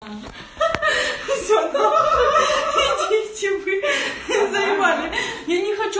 ага все давай кричу я нормально я не хочу